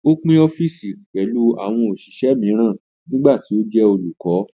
Ó pín ọ́fìsì pẹ̀lú àwọn òṣìṣẹ́ mìíràn nígbà tí ó jẹ́ olùkọ́